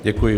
Děkuji.